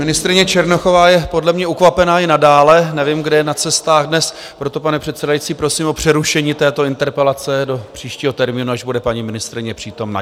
Ministryně Černochová je podle mě ukvapená i nadále, nevím, kde je na cestách dnes, proto, pane předsedající, prosím o přerušení této interpelace do příštího termínu, až bude paní ministryně přítomna.